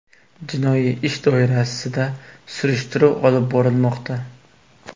Jinoiy ish doirasida surishtiruv olib borilmoqda.